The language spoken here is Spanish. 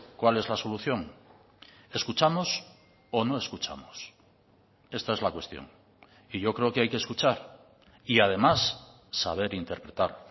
cuál es la solución escuchamos o no escuchamos esta es la cuestión y yo creo que hay que escuchar y además saber interpretar